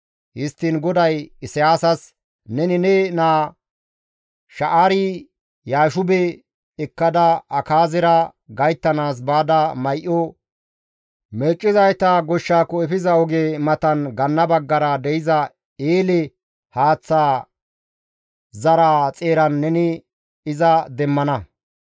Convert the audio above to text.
Histtiin GODAY Isayaasas, «Neni ne naa Sha7aari-Yaashube ekkada Akaazera gayttanaas baada may7o meeccizayta goshshaakko efiza oge matan ganna baggara de7iza eele haaththa zaraa xeeran neni iza demmana.